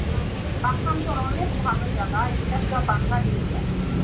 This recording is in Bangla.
পাখান্জর অনেক ভালো জায়গা এইটা পুরা বাঙালি area.